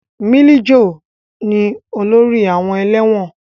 Milijo ni olórí àwọn ẹlẹ́wọ̀n